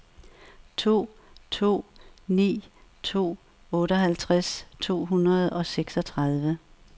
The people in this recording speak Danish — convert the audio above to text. to to ni to otteoghalvtreds to hundrede og seksogtredive